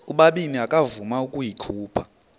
ubabini akavuma ukuyikhupha